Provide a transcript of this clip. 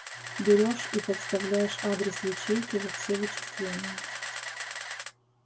берёшь и подставляешь адрес ячейки во все вычисления